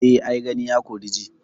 Eh ai Gani, ya kori ji.